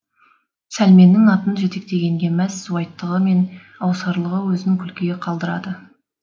сәлменнің атын жетектегенге мәз суайттығы мен аусарлығы өзін күлкіге қалдырады